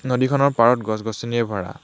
নদীখনৰ পাৰত গছ গছনিৰে ভৰা।